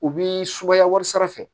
U bi sumaya wari sara